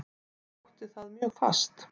Ég sótti það mjög fast.